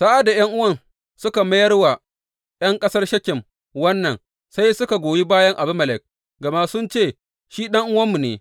Sa’ad da ’yan’uwan suka mayar wa ’yan ƙasar Shekem wannan, sai suka goyi bayan Abimelek, gama sun ce, Shi ɗan’uwanmu ne.